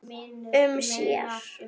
um sér.